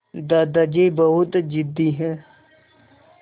दादाजी बहुत ज़िद्दी हैं